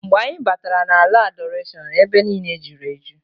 Mgbe anyị batara na ala Adọrashọn, ebe niine julu eju.